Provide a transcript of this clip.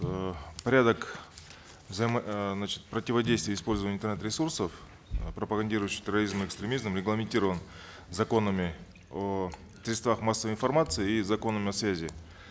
э порядок э значит противодействия использования интернет ресурсов э пропагандирующих терроризм и экстремизм регламентирован законами о средствах массовой информации и законом о связи